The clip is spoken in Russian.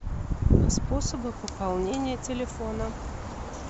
способы пополнения телефона